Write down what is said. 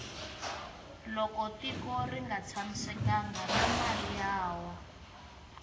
loko gtiko rnga tshamisekangi na mali ya wa